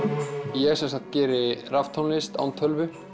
ég sem sagt geri raftónlist án tölvu